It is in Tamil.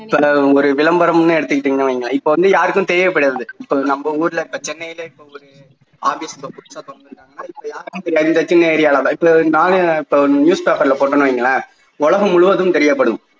இப்போ ஒரு விளம்பரம்னு எடுத்துக்கிட்டிங்கன்னு வையுங்களேன் இப்போ வந்து யாருக்கும் தெரிய போறது இல்லை இப்போ நம்ம ஊருல சென்னையிலேயே இப்போ நானே news paper ல போட்டேன் என்று வையுங்களேன் உலகம் முழுவதும் தெரியப்படும்